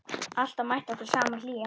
Alltaf mætti okkur sama hlýjan.